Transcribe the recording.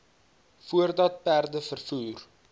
voordat perde vervoer